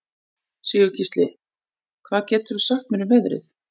Sigurgísli, hvað geturðu sagt mér um veðrið?